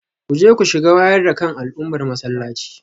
Kuje ku shiga wayar da kan al'ummar masallaci